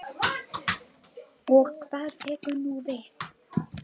Og hvað tekur nú við?